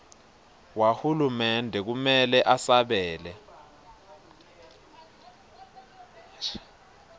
wahulumende kumele usabele